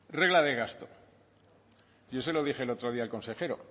regla de gasto yo se lo dije el otro día el consejero